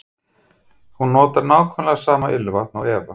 Hún notar nákvæmlega sama ilmvatn og Eva.